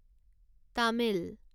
Tamil